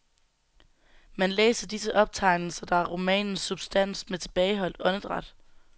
Man læser disse optegnelser, der er romanens substans, med tilbageholdt åndedræt.